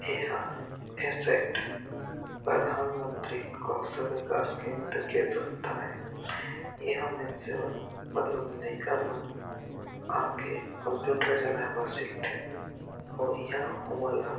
एहा एसेक्ट प्रधानमंत्री कौशल विकास केंद्र के संस्था हे इहा मनसे मन मतलब लइका मन आके कंप्यूटर चलाये बर सिखथे और एहा ओमन ला--